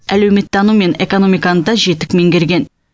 әлеуметтану мен экономиканы да жетік меңгерген